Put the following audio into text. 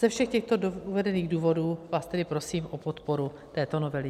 Ze všech těchto uvedených důvodů vás tedy prosím o podporu této novely.